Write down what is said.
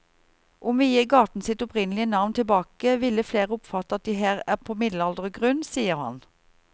Om vi gir gaten sitt opprinnelige navn tilbake ville flere oppfatte at de her er på middelaldergrunn, sier han.